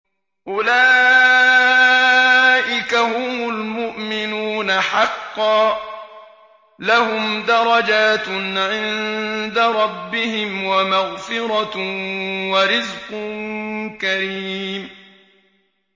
أُولَٰئِكَ هُمُ الْمُؤْمِنُونَ حَقًّا ۚ لَّهُمْ دَرَجَاتٌ عِندَ رَبِّهِمْ وَمَغْفِرَةٌ وَرِزْقٌ كَرِيمٌ